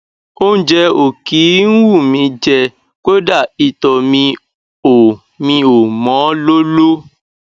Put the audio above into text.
óúnjẹ ò kí ń wù mí í jẹ kódà ìtọ mi ò mi ò mọ lóló